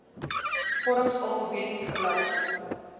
vorms alfabeties gelys